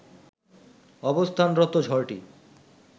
অবস্থানরত ঝড়টি